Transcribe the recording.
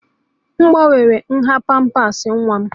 M gbanwere nha pampers nwa m